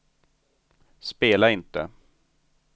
spela inte